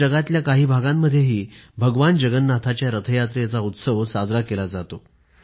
आतातर जगातल्या काही भागांमध्येही भगवान जगन्नाथाच्या रथयात्रेचा उत्सव साजरा केला जातो